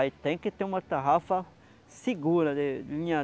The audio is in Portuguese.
Aí tem que ter uma tarrafa segura, de de linha